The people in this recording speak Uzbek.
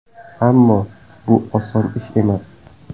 Ammo, bu oson ish emas”.